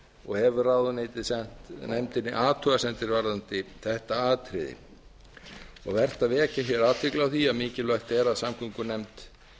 og hefur ráðuneytið sent nefndinni athugasemdir varðandi þetta atriði og er vert að vekja athygli á því að mikilvægt er að samgöngunefnd